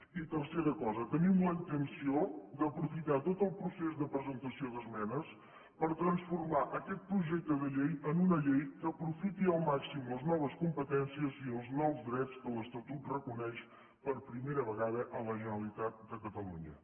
i tercera cosa tenim la intenció d’aprofitar tot el procés de presentació d’esmenes per transformar aquest projecte de llei en una llei que aprofiti al màxim les noves competències i els nous drets que l’estatut reconeix per primera vegada a la generalitat de catalunya